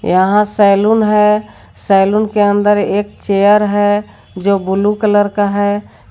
यहां सैलून है सैलून के अंदर एक चेयर है जो ब्लू कलर का है।